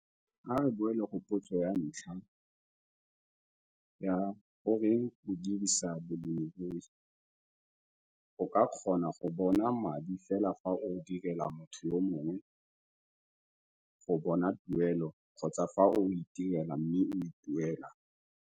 A re boele go potso ya ntlha ya goreng o dirisa bolemirui? O ka kgona go bona madi fela fa o direla motho yo mongwe go bona tuelo kgotsa fa o itirela mme o ituela.